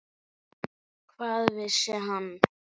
Hvað vissi hann?